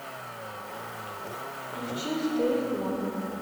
включи стэй фло